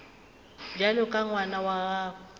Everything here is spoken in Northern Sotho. bjalo ka ngwana wa gago